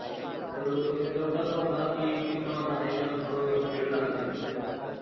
तर एक doubt असा होता. कि एक मित्र माझा आहे त्याला थोडं वेड लागलंय